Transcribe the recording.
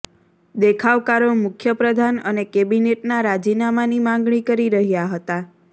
દેખાવકારો મુખ્ય પ્રધાન અને કેબિનેટનાં રાજીનામાની માગણી કરી રહ્યા હતા